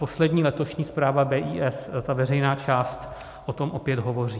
Poslední letošní zpráva BIS, ta veřejná část, o tom opět hovoří.